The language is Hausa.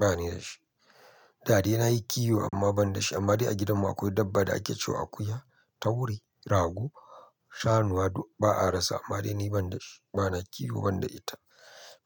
Ba ni da shi. Da de na yi kiwo amma ban da shi. Amma dai a gidanmu akwai dabba da ake cewa akuya, taure, rago, shanuwa ɗuk ba a rasa. Amma dai ni ban da shi. Ba na kiwo ban da ita.